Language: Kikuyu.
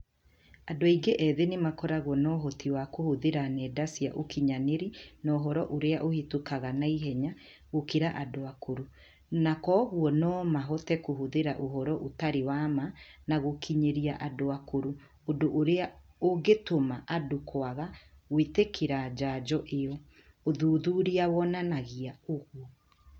Andũ aingĩ ethĩ nĩ makoragwo na ũhoti wa kũhũthĩra nenda cia ũkinyanĩrĩa na ũhoro ũrĩa ũhĩtũkaga na ihenya gũkĩra andũ akũrũ, na kwoguo no mahote kũhũthira ũhoro ũtarĩ wa ma na gũũkinyĩria andũ akũrũ ũndũ ũrĩa ũngĩtũma andũ kwaga gũĩtĩkĩra njanjo ĩo, ũthuthuria wonanagia ũgũo.